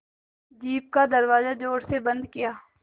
jeep का दरवाज़ा ज़ोर से बंद किया